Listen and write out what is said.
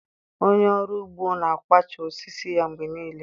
Onye ọrụ ugbo na-kwachaa osisi ya mgbe niile.